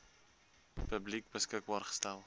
publiek beskikbaar gestel